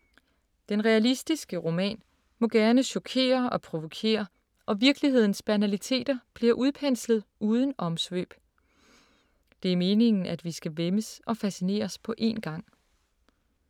Den realistiske roman må gerne chokere og provokere og virkelighedens banaliteter bliver udpenslet uden omsvøb. Det er meningen, at vi skal væmmes og fascineres på en gang.